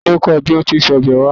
Ta ni ó kọ́ ẹ bí wọn tí ń se ọbẹ̀ oha?